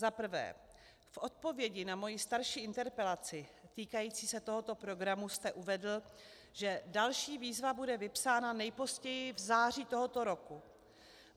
Za prvé, v odpovědi na moji starší interpelaci týkající se tohoto programu jste uvedl, že další výzva bude vypsána nejpozději v září tohoto roku.